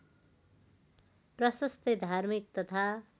प्रशस्तै धार्मिक तथा